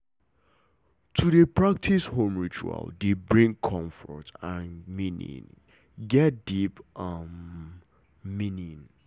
to dey practice home ritual dey bring comfort and meaning get deep um meaning